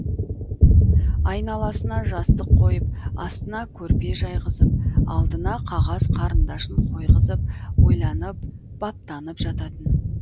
айналасына жастық қойып астына көрпе жайғызып алдына қағаз қарындашын қойғызып ойланып баптанып жататын